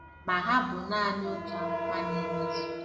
Ma, ha bụ naanị otu amụma na-emezu.